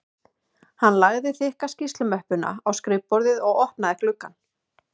Hann lagði þykka skýrslumöppuna á skrifborðið og opnaði gluggann